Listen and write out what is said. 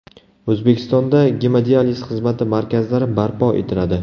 O‘zbekistonda gemodializ xizmati markazlari barpo etiladi.